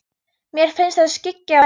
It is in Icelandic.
Mér finnst það skyggja á daginn.